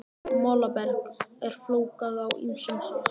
Molaberg er flokkað á ýmsan hátt.